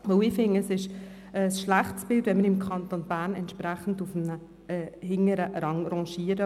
Ich denke, es gibt ein schlechtes Bild ab, wenn wir im Kanton Bern auf einem hinteren Rang liegen.